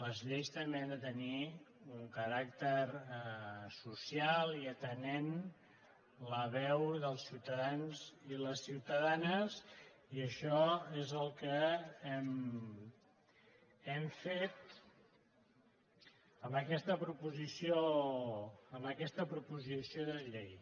les lleis també han de tenir un caràcter social i atendre la veu dels ciutadans i les ciutadans i això és el que hem fet amb aquesta proposició de llei